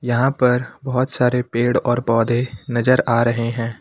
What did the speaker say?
यहां पर बहोत सारे पेड़ और पौधे नजर आ रहे हैं।